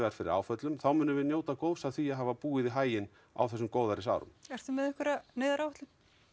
fyrir áföllum þá munum við njóta góðs af því að hafa búið í haginn á þessum góðærisárum ertu með einhverja neyðaráætlun